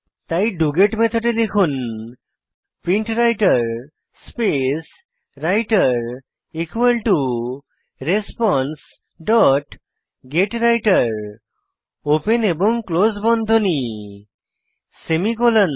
তাই ডগেট মেথডে লিখুন প্রিন্টরাইটের স্পেস রাইটের রেসপন্সে ডট গেত্বৃতের ওপেন এবং ক্লোস বন্ধনী সেমিকোলন